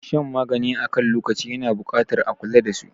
Shan magani akan lokaci yana buƙatar a kula dasu.